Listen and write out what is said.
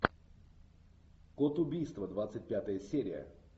код убийства двадцать пятая серия